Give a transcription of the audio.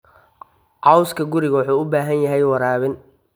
Cawska guriga wuxuu u baahan yahay waraabin.